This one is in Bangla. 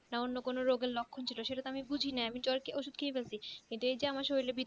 না অন্য কোনো রোগের লক্ষণ ছিল সেটাতো আমি বুঝি নাই আমি তো জ্বরের ওষুধ খেয়ে ফেলছি কিন্তু এই যে আমার শরীরের ভিতরে